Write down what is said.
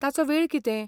ताचो वेळ कितें?